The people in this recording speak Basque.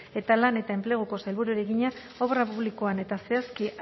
eta lan eta enpleguko sailburuari egina obra publikoan eta zehazki